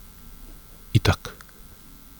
Itak.